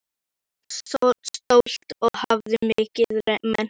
Hún var stolt og hafði mikinn metnað.